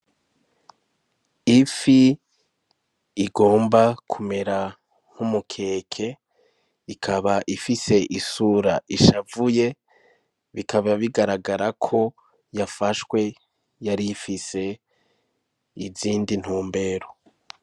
Ifi igomba kumera nk'umukeke ikaba ifise isura ishavuye bikaba bigaragara ko yafashwe yarifise izindi ntumbero.